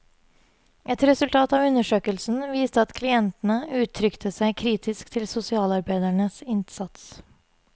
Et resultat av undersøkelsen viste at klientene uttrykte seg kritisk til sosialarbeidernes innsats.